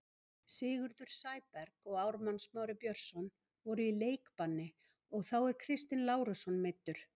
Sigurður Sæberg og Ármann Smári Björnsson voru í leikbanni og þá er Kristinn Lárusson meiddur.